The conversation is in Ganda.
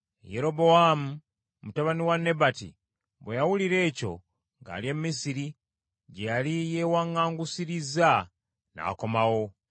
Yerobowaamu mutabani wa Nebati bwe yawulira ekyo, ng’ali e Misiri, gye yali yeewaŋŋangusirizza, n’akomawo.